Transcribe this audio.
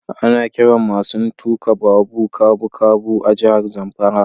Ana kiran masun tuka babu kabukabu a jihar Zamfara.